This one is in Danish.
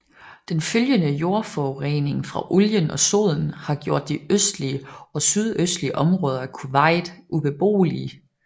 Den følgende jordforurening fra olien og soden har gjort de østlige og sydøstlige områder af Kuwait ubeboelige